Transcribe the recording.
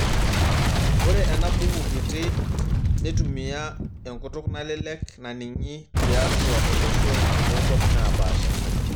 Ore enabuku kitii netumia enkutuk nalelek naning'i titua olosho otokwapi naapasha.